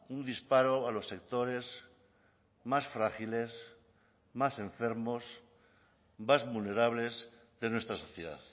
un disparo a los sectores más frágiles más enfermos más vulnerables de nuestra sociedad